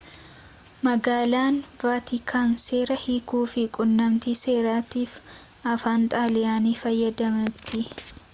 magaalaan vaatikaan seera hiikuu fi quunnamtii seraatiif afaan xaaliyanii fayyadamti